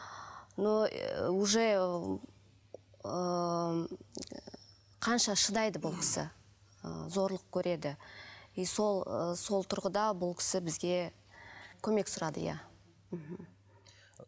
но ы уже ыыы қанша шыдайды бұл кісі ы зорлық көреді и сол ы сол тұрғыда бұл кісі бізге көмек сұрады иә мхм